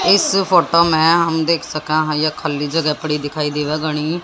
इस फोटो में हम देख सके हैं ये खाली जगह पड़ी दिखाई देवे गणी।